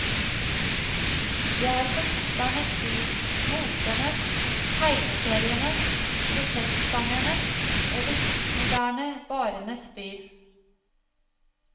Det er forfatternes by, motenes, tegneserienes, protestsangernes og de postmoderne barenes by.